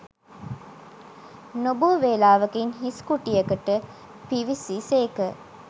නොබෝ වේලාවකින් හිස් කුටියකට පිවිසි සේක